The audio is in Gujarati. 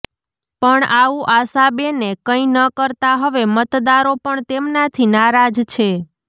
પણ આવું આશા બેને કંઈ ન કરતા હવે મતદારો પણ તેમનાથી નારાજ છે